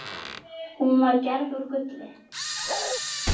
Hún var gerð úr gulli.